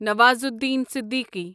Nawazuddin Siddiqui